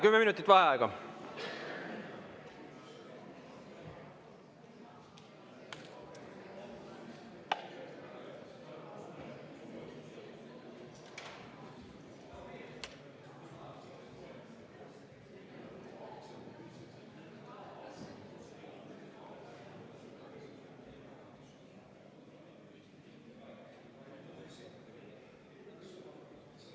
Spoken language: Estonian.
Kümme minutit vaheaega.